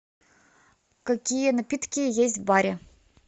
какие напитки есть в баре